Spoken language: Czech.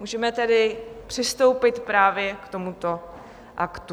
Můžeme tedy přistoupit právě k tomuto aktu.